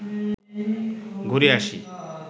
ঘুরে আসি